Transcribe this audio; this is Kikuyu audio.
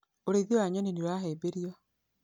ũrĩithia wa nyonĩ nĩ ũrahĩmbĩrio.